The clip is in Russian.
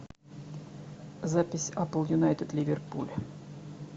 запись апл юнайтед ливерпуль